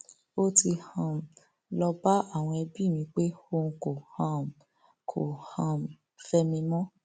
ó ti um lọọ bá àwọn ẹbí mi pé òun kò um kò um fẹ mi mọ